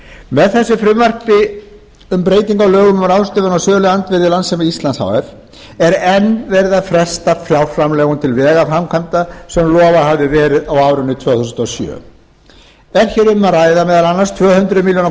með þessu frumvarpi um breytingu á lögum um ráðstöfun á söluandvirði landssíma íslands h f er enn verið að fresta fjárframlögum til vegaframkvæmda sem lofað hafði verið á árinu tvö þúsund og sjö er hér um að ræða meðal annars tvö hundruð milljóna